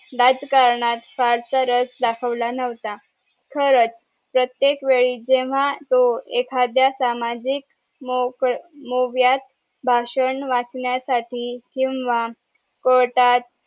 राजकारणात फारसा रस दाखवला नव्हता खरंच प्रत्येक वेळी जेव्हा तो एखाद्या सामाजिक मोव्यात भाषण वाचण्यासाठी किंवा कोर्टात